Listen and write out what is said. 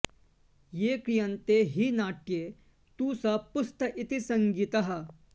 ये क्रियन्ते हि नाट्ये तु स पुस्त इति संज्ञितः